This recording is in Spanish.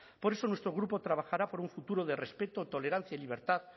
por eso nuestro grupo trabajará por un futuro de respeto tolerancia y libertad